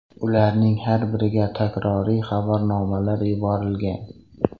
Ularning har biriga takroriy xabarnomalar yuborilgan.